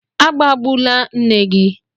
Agbabula nne gị!